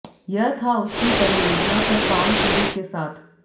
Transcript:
यह था उसकी परियोजना पर काम शुरू के साथ